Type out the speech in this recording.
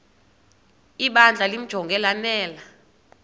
ibandla limjonge lanele